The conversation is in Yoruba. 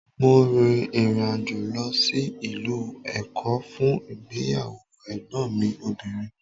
Mo rin ìrìnàjò lọ sí ìlú Èkó fún ìgbéyàwó Ègbón mi obìnrin